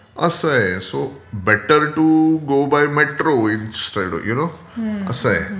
असं आहे so better to go by metro instead you know. असं आहे.